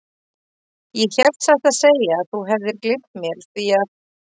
Ég hélt satt að segja að þú hefðir gleymt mér, því að.